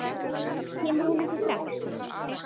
Kemur hún ekki strax?